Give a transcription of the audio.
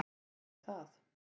Svo fer það.